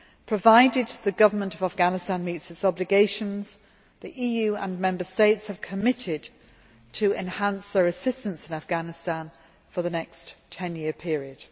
Provided the government of Afghanistan meets its obligations, the EU and Member States have committed to enhancing their assistance in Afghanistan for the next ten year period.